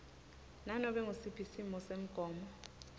nanobe ngusiphi simisomgomo